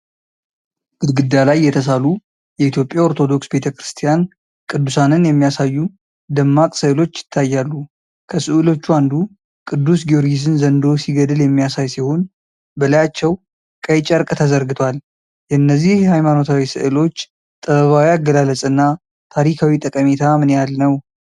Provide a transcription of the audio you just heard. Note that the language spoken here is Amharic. ግድግዳ ላይ የተሳሉ የኢትዮጵያ ኦርቶዶክስ ቤተ ክርስቲያን ቅዱሳንን የሚያሳዩ ደማቅ ሥዕሎች ይታያሉ። ከሥዕሎቹ አንዱ ቅዱስ ጊዮርጊስን ዘንዶ ሲገድል የሚያሳይ ሲሆን፣ በላያቸው ቀይ ጨርቅ ተዘርግቷል። የእነዚህ ሃይማኖታዊ ሥዕሎች ጥበባዊ አገላለጽና ታሪካዊ ጠቀሜታ ምን ያህል ነው?